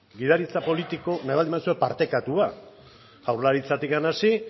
gidaritza politiko nahi baldin baduzue partekatua jaurlaritzatik hasi